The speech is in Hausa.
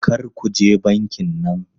Kar ku je bankin nan!